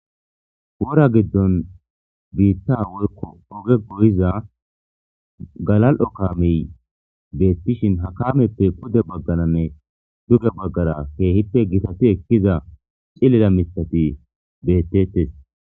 wora giddon biitta woykko oge goyiza galal7o kaamey beettishin ha kaameppe pude baggananne duge baggara keehippe gitati ekkiza cillila mitati beettettes